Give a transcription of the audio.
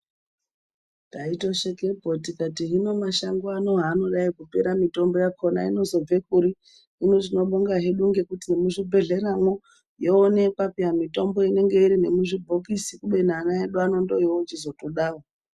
Taitoshekepo tikati hino mashango haanodai kupera mitombo yakona inozobvekuri , hinotinobonga hedu ngekuti ngemu zvibhedhlera mwo yoonekwa peya mitombo inenge iri nemu zvibhokisi kubeni ana edu ndooyo chitozoda wo.